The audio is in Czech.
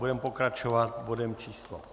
Budeme pokračovat bodem číslo